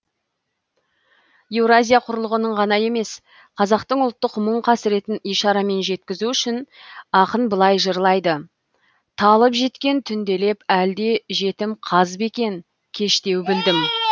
еуразия құрлығының ғана емес қазақтың ұлттық мұң қасіретін ишарамен жеткізу үшін ақын былай жырлайды талып жеткен түнделеп әлде жетім қаз ба екен кештеу білдім